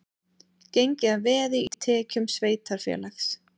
Gengið að veði í tekjum sveitarfélags